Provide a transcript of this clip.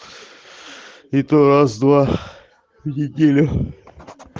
это раз два в неделю